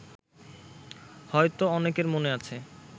হয়তো অনেকের মনে আছে